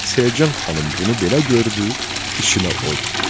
Selcan xanım bunu belə gördü, içinə od düşdü.